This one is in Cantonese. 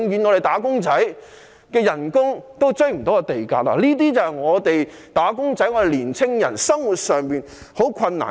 那麼，"打工仔"的工資永遠追不上地價，這些便是"打工仔"、年輕人生活上面對的困難。